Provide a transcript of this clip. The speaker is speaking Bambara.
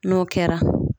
N'o kɛra